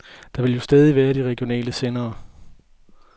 Der vil jo stadig være de regionale sendere.